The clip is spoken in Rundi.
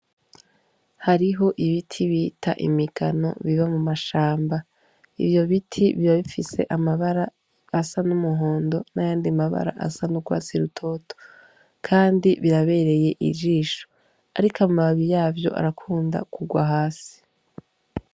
Hariho ibiti bita imigano biba mu mashamba ivyo biti biba bifise amabara asa n'umuhondo n'ayandi mabara asa n'urwa si rutoto, kandi birabereye ijisho, ariko amababi yavyo arakunda kugwa hasi.